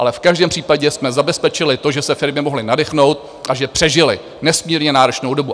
Ale v každém případě jsme zabezpečili to, že se firmy mohly nadechnout a že přežily nesmírně náročnou dobu.